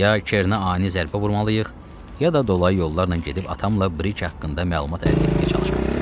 Ya Kerinə ani zərbə vurmalıyıq, ya da dolayı yollarla gedib atamla brik haqqında məlumat əldə etməyə çalışmalıyıq.